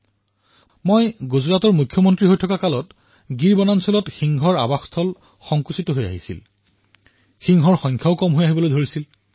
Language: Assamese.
যেতিয়া মই তাৰে মুখ্যমন্ত্ৰীৰ দায়িত্ব গ্ৰহণ কৰিছিলো তেতিয়া গীৰত সিংহৰ আবাদী হ্ৰাস হৈ আহিছিল